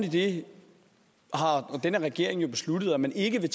i det har den her regering jo besluttet at man ikke